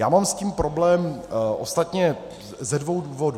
Já mám s tím problém ostatně ze dvou důvodů.